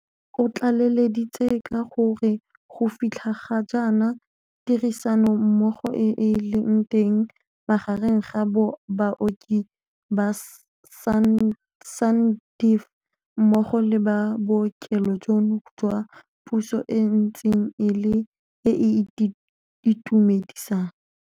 Otlaleleditse ka gore go fitlha ga jaana tirisanommogo e e leng teng magareng ga baoki ba SANDF mmogo le ba bookelo jono jwa puso e ntse e le e e itumedisang.